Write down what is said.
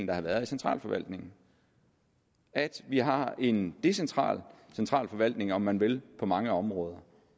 der har været i centralforvaltningen at vi har en decentral centralforvaltning om man vil på mange områder